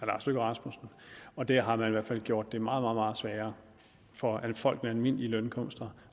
lars løkke rasmussen og der har man i hvert fald gjort det meget meget sværere for folk med almindelige indkomster